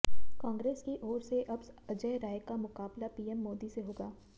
कांग्रेस की ओर से अब अजय राय का मुकाबला पीएम मोदी से होगा